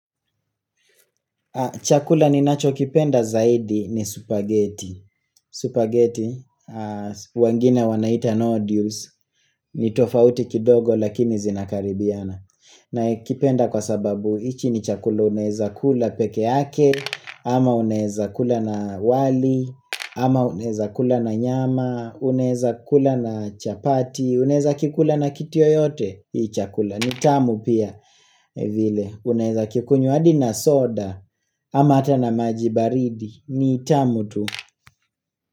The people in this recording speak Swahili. Chakula ninachokipenda zaidi ni supaghetti Supagheiti wengine wanaita nodules ni tofauti kidogo lakini zinakaribiana. Naikipenda kwa sababu hichi ni chakula unaweza kula peke yake ama uneza kula na wali ama unaweza kula na nyama, unaweza kula na chapati, unaweza kikula na kitu yoyote hii chakula ni tamu pia vile unaweza kikunywa hadi na soda ama hata na maji baridi, ni tamu tu.